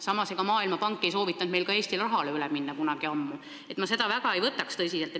Samas, ega Maailmapank ei soovitanud meil kunagi ammu ka Eesti rahale üle minna, nii et ma ei võtaks seda väga tõsiselt.